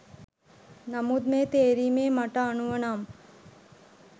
නමුත් මේ තේරීමේ මට අනුව නම්